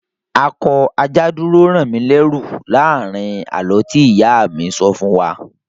A kọ "Ajá dúró rán mi lẹẹru" láàrin àlọ́ tí ìyá mi sọ fún wa